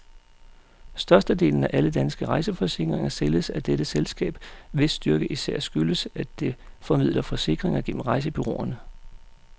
Størstedelen af alle danske rejseforsikringer sælges af dette selskab, hvis styrke især skyldes, at det formidler forsikringer gennem rejsebureauerne.